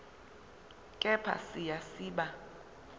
kepha siya siba